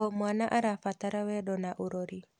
O mwana arabatara wendo na ũrori.